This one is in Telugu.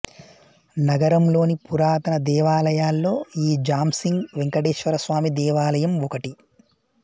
నగరంలోని పురాతన దేవాలయాల్లో ఈ జాంసింగ్ వెంకటేశ్వరస్వామి దేవాలయం ఒకటి